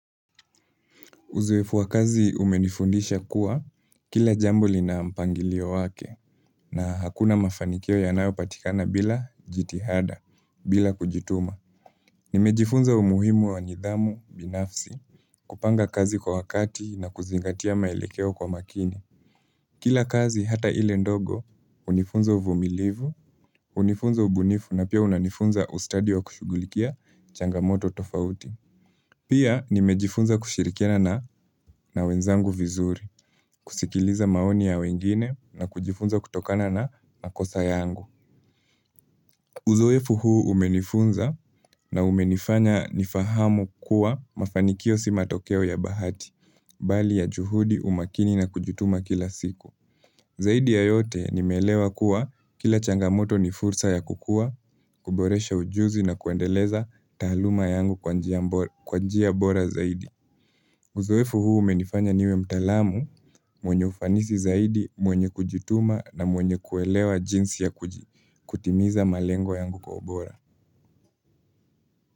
Uzoefu wa kazi umenifundisha kuwa, kila jamboli na mpangilio wake na hakuna mafanikio ya nao patikana bila jitihada, bila kujituma. Nimejifunza umuhimu wa nidhamu binafsi, kupanga kazi kwa wakati na kuzingatia maelekeo kwa makini. Kila kazi hata ile ndogo, hunifunza uvumilivu, hunifunza ubunifu na piahunanifunza ustadi wa kushugulikia changamoto tofauti. Pia nimejifunza kushirikena na wenzangu vizuri, kusikiliza maoni ya wengine na kujifunza kutokana na nakosa yangu. Uzoefu huu umenifunza na umenifanya nifahamu kuwa mafanikio sima tokeo ya bahati, bali ya juhudi umakini na kujutuma kila siku. Zaidi ya yote nimelewa kuwa kila changamoto ni fursa ya kukua, kuboresha ujuzi na kuandeleza taaluma yangu kw anjia bora zaidi. Uzoefu huu menifanya niwe mtalamu, mwenye ufanisi zaidi, mwenye kujituma na mwenye kuelewa jinsi ya kutimiza malengo yangu kwa obora.